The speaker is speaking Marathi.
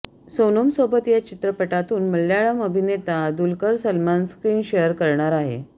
सोनमसोबत या चित्रपटातून मल्याळम अभिनेता दुलकर सलमान स्क्रीन शेअर करणार आहे